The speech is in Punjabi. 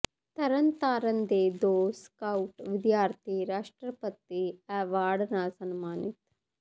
ਤਰਨਤਾਰਨ ਦੇ ਦੋ ਸਕਾਊਟ ਵਿਦਿਆਰਥੀ ਰਾਸ਼ਟਰਪਤੀ ਐਵਾਰਡ ਨਾਲ ਸਨਮਾਨਿਤ